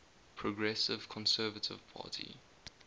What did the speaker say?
progressive conservative party